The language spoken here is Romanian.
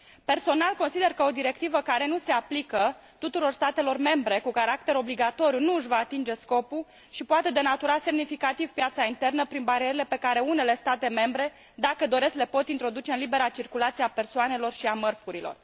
Personal, consider că o directivă care nu se aplică tuturor statelor membre cu caracter obligatoriu nu își va atinge scopul și poate denatura semnificativ piața internă prin barierele pe care unele state membre, dacă doresc, le pot introduce în libera circulație a persoanelor și a mărfurilor.